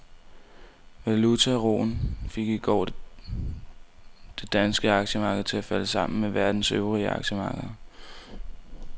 Valutauroen fik i går det danske aktiemarked til at falde sammen med verdens øvrige aktiemarkeder.